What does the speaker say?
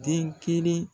Den kelen